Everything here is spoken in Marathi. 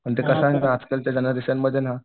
पण ते कसं आहे माहिती आहे का आजकाल ते मध्ये ना